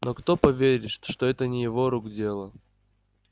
но кто поверит что это не его рук дело